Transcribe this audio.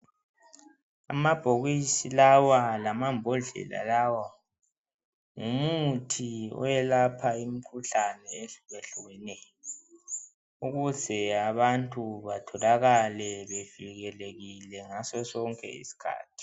Amabhokisi lawa lamambodlela lawa ngumuthi owelapha imikhuhlane ehlukehlukeneyo ukuze abantu batholakale bevikelekile ngaso sonke isikhathi.